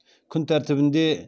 күн тәртібінде